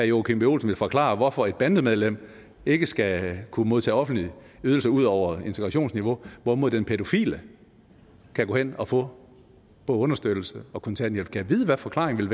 joachim b olsen vil forklare hvorfor et bandemedlem ikke skal kunne modtage offentlige ydelser ud over integrationsniveau hvorimod den pædofile kan gå hen og få understøttelse og kontanthjælp gad vide hvad forklaringen